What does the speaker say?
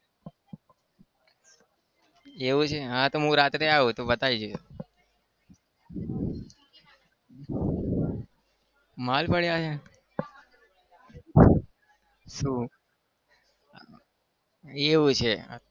એવું છે? હા તો હું રાત્રે આવું. તું બતાવજે માલ પડ્યો છે? શું એવું છે?